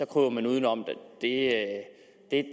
kryber man udenom det er